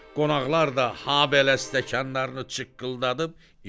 Qonaqlar da habelə stəkanlarını çıqqıldadıb içdilər.